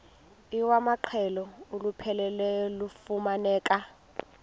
iwamaqhalo olupheleleyo lufumaneka